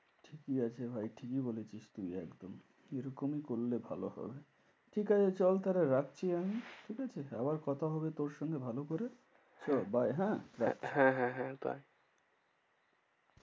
কি আছে ভাই ঠিকই বলেছিস তুই একদম। এরকমই করলে ভালো হয়। ঠিকাছে চল তাহলে রাখছি আমি। ঠিকাছে? আবার কথা হবে তোর সঙ্গে ভালো করে। চো bye হ্যাঁ রাখ। হ্যাঁ হ্যাঁ হ্যাঁ bye.